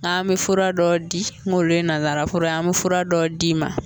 N ga me fura dɔ di kom'olu ye nazara fura an mɛ fura dɔ d'i